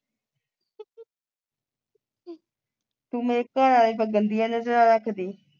ਤੂੰ ਮੇਰੇ ਘਰਵਾਲੇ ਤੇ ਗੰਦੀਆਂ ਨਜਰਾਂ ਰੱਖਦੀ